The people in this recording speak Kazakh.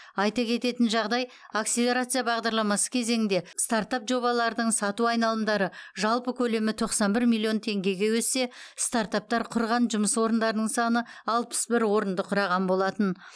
айта кететін жағдай акселерация бағдарламасы кезеңінде стартап жобалардың сату айналымдары жалпы көлемі тоқсан бір миллион теңгеге өссе стартаптар құрған жұмыс орындарының саны алпыс бір орынды құраған болатын